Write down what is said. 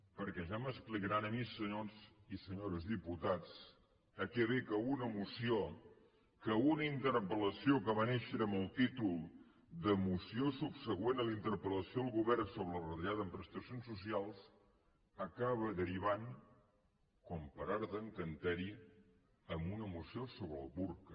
perquè ja m’explicaran a mi senyors i senyores diputats a què ve que una moció que una interpel·lació que va néixer amb el títol de moció subsegüent a la inter pel·lació al govern sobre la retallada en prestacions socials acabi derivant com per art d’encanteri en una moció sobre el burca